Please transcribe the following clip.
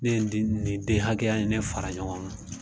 Ne nin den hakɛya de fara ɲɔgɔn kan.